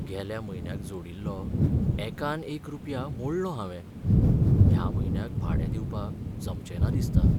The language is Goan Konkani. गेल्या म्हयन्याक जोडिल्लो एकान एक रुपया मोडलो हांवें. ह्या म्हयन्याक भाडें दिवपाक जमचें ना दिसता.